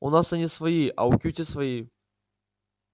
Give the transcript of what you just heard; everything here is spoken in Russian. у нас они свои а у кьюти свои